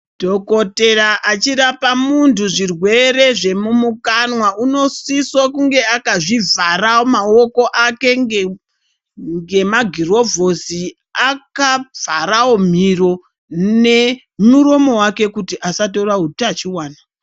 Dhokotera achirapa muntu zvirwere chemumukanwa, unosiso kunge akazvivhara maoko ake ngemagirovhosi, akavharawo mhino nemuromo wake kuti asatora utachiwona